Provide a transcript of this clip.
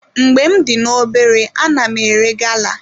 Mgbe m dị n'obere ana m ere gala.